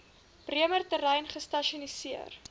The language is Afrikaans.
bremer terrein gestasioneer